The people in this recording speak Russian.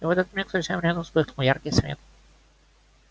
и в этот миг совсем рядом вспыхнул яркий свет